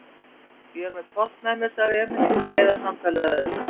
Ég er með hvolp með mér, sagði Emil til að leiða samtalið að öðru.